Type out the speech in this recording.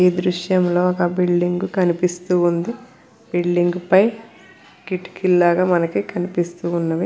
ఈ దృశ్యంలో ఒక బిల్డింగ్ కనిపిస్తు ఉంది. బిల్డింగ్ పై కిటికీలు లాగా మనకి కనిపిస్తూ ఉన్నవి.